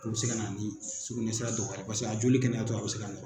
Hali u be se ka na ni sukunɛ sira dɔgɔya ye. Paseke a joli kɛnɛ tɔ a be se ka